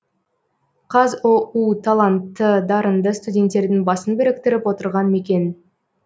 қазұу талантты дарынды студенттердің басын біріктіріп отырған мекен